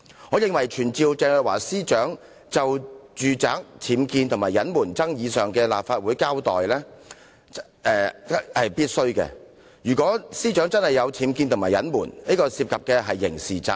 我認為傳召鄭若驊司長就住宅僭建及隱瞞爭議前來立法會清楚交代是必須的，因為如果司長確有僭建及隱瞞，這便涉及刑事責任。